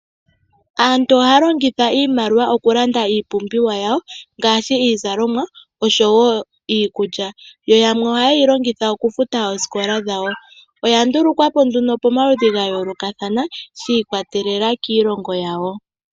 Aantu ohaya longitha iimliwa okulanda iipumbiwa yawo ngaashi iizalomwa osho wo iikulya yo yamwe oha yeyi longitha okufuta oosikola dahwo. Oyandulukwa po nduno pamaludhi gayoolokathana shiikwatelela kiilongo yawo.